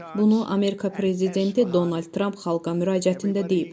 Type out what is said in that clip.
Bunu Amerika prezidenti Donald Tramp xalqa müraciətində deyib.